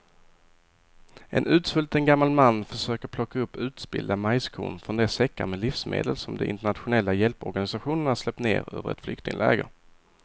En utsvulten gammal man försöker plocka upp utspillda majskorn från de säckar med livsmedel som de internationella hjälporganisationerna släppt ner över ett flyktingläger.